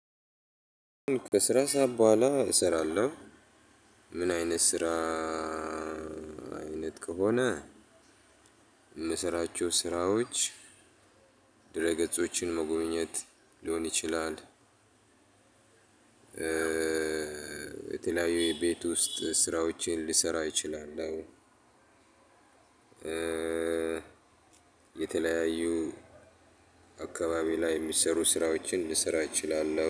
ከስራ ሰዓት ቡሃላ አሰራለሁ። ምን አይነት ስራ አይነት ከሆነ? የምሰራቸው ስራዎች ድረ ገጾችን መጎብኘት ሊሆን ይችላል። የተለያዩ የቤት ውስጥ ስራዎችን ልሰራ እችላለሁ። የተለያዩ አካባቢ ላይ የሚሰሩ ስራዎችን ልሰራ እችላለሁ